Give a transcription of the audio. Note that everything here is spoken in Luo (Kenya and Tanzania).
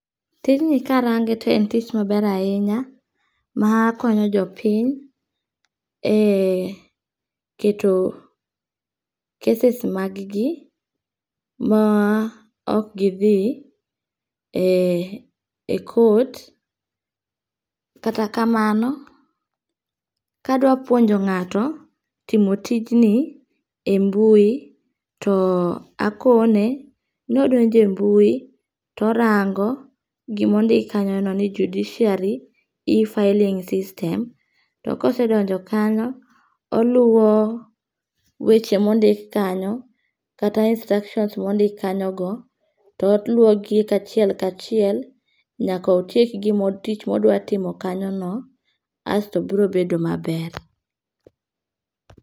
Tijni karange to en tich maber ahinya, makonyo jopiny e keto cases mag gi ma ok githi e court, kata kamano kadwapuonjo nga'to timo tijni e mbui, to akone ni odonje mbui to orango gima ondik kanyono ni judiciary e filling system to kosedonjo kanyo oluwo weche ma ondik kanyo kata instructions mondik kanyogo toluo gik achiel kachiel nyaka otiek gima tich modwatimo kanyono asto biro bedo maber.